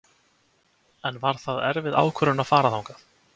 En var það erfið ákvörðun að fara þangað?